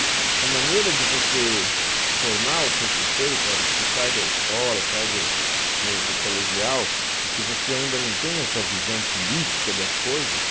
E a maneira de você formar o seu conceito, na hora que você sai da escola, sai do do colegial, e que você ainda não tem essa visão política das coisas,